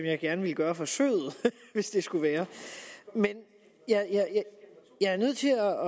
jeg gerne ville gøre forsøget hvis det skulle være men jeg er nødt til at